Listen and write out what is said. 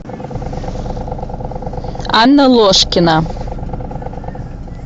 анна ложкина